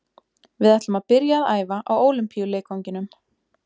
Við ætlum að byrja að æfa á Ólympíuleikvanginum.